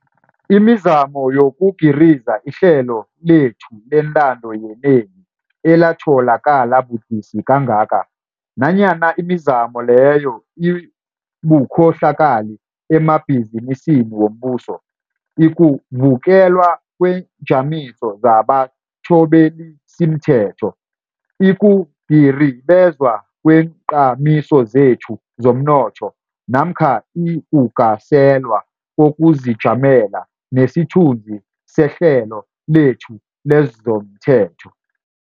imizamo yokugiriza ihlelo lethu lentando yenengi elatholakala budisi kangaka, nanyana imizamo leyo ibukhohlakali emabhizinisini wombuso, ikuvukelwa kweenjamiso zabathobelisimthetho, ikugiribezwa kweenjamiso zethu zomnotho namkha ikugaselwa kokuzijamela nesithunzi sehlelo lethu lezomthetho.